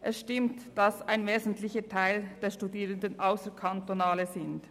Es stimmt, dass ein wesentlicher Teil der Studierenden nicht im Kanton wohnhaft ist.